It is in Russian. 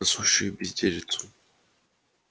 за сущую безделицу